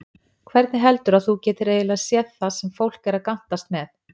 Hvernig heldurðu að þú getir eiginlega séð það sem fólk er að gantast með?